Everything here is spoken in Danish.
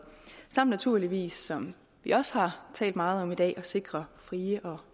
samt naturligvis som vi også har talt meget om i dag sikrer frie og